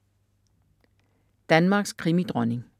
Danmarks krimidronning